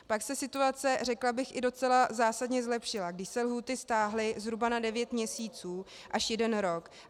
Pak se situace, řekla bych, i docela zásadně zlepšila, když se lhůty stáhly zhruba na devět měsíců až jeden rok.